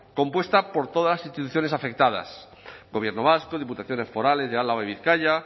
compuesta por todas las instituciones afectadas gobierno vasco diputaciones forales de álava y bizkaia